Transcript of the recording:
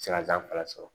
Sikasan fara sɔrɔ